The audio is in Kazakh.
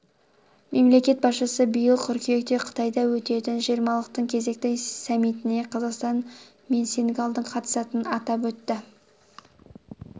мемлекет басшысы биыл қыркүйекте қытайда өтетін үлкен жиырмалықтың кезекті саммитіне қазақстан мен сенегалдың қатысатынын атап өтті